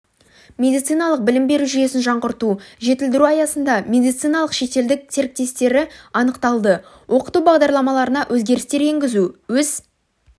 медициналық білім беру жүйесін жаңғырту жетілдіру аясында медициналық шетелдік серіктестері анықталды оқыту бағдарламаларына өзгерістер енгізу өз